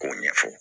K'o ɲɛfɔ